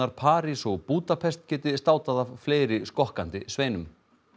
París og Búdapest geti státað af fleiri skokkandi sveinum